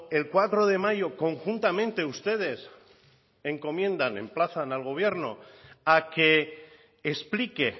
el cuatro de mayo conjuntamente ustedes encomienda emplazan al gobierno a que explique